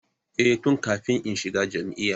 Eh, tun kafin in shiga jami'a